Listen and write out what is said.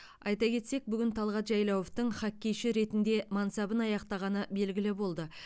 айта кетсек бүгін талғат жайлауовтың хоккейші ретінде мансабын аяқтағаны белгілі болды